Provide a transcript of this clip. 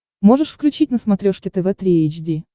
можешь включить на смотрешке тв три эйч ди